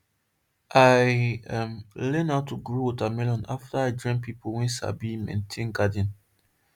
i um learn how to grow watermelon after i join people wey sabi maintain garden